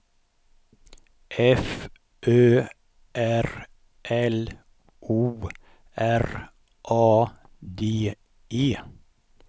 F Ö R L O R A D E